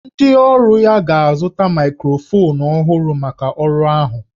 Ndị ọrụ ya ga-azụta maịkrofonu ọhụrụ maka ọrụ ahụ